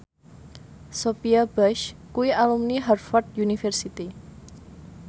Sophia Bush kuwi alumni Harvard university